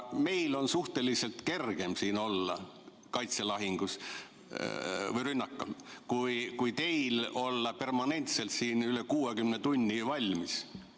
Meil on kergem siin olla kaitselahingus või rünnakul kui teil olla permanentselt siin üle 60 tunni valmis.